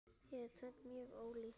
Það er tvennt mjög ólíkt.